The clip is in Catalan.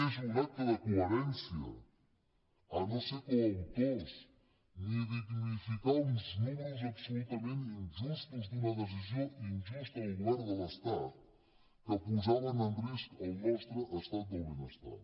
és un acte de coherència a no ser coautors ni dignificar uns números absolutament injustos d’una decisió injusta del govern de l’estat que posaven en risc el nostre estat del benestar